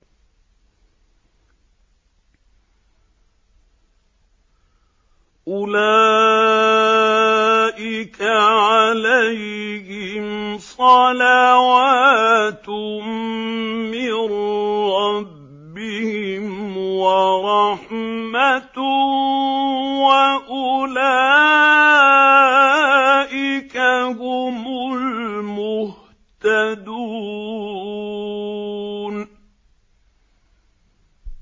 أُولَٰئِكَ عَلَيْهِمْ صَلَوَاتٌ مِّن رَّبِّهِمْ وَرَحْمَةٌ ۖ وَأُولَٰئِكَ هُمُ الْمُهْتَدُونَ